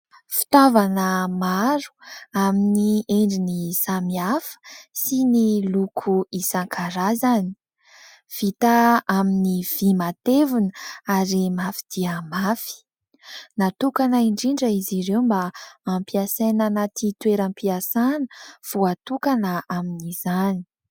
Fitaovana maro amin'ny endriny samihafa, sy ny loko isankarazany ; vita amin'ny vy matevina, ary mafy dia mafy. Natokana indrindra izy ireo mba ampiasaina anaty toeram-piasana voatokana amin'izany.